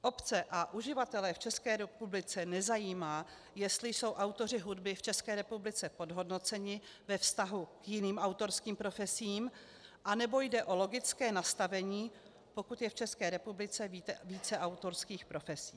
Obce a uživatele v České republice nezajímá, jestli jsou autoři hudby v České republice podhodnoceni ve vztahu k jiným autorským profesím, anebo jde o logické nastavení, pokud je v České republice více autorských profesí.